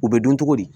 U bɛ dɔn cogo di